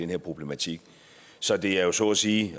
her problematik så det er så at sige